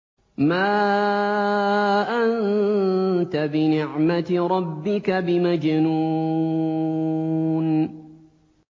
مَا أَنتَ بِنِعْمَةِ رَبِّكَ بِمَجْنُونٍ